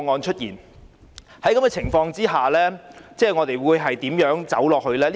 在這情況下，我們應該如何走下去呢？